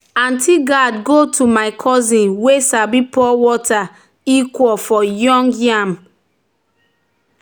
"aunty um gourd go to my cousin wey sabi pour water equal-equal for young um yam." young um yam."